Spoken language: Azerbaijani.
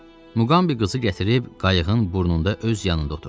Muqambi qızı gətirib qayığın burnunda öz yanında oturtdudu.